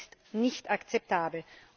Das ist nicht akzeptabel.